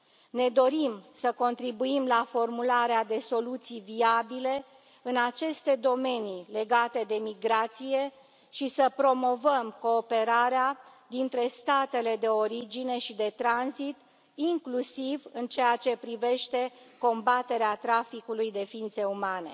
Ne dorim să contribuim la formularea de soluții viabile în aceste domenii legate de migrație și să promovăm cooperarea dintre statele de origine și de tranzit, inclusiv în ceea ce privește combaterea traficului de ființe umane.